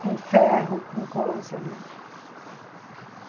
Com ferro, com coisa, né?